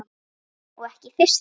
Og ekki í fyrsta skipti.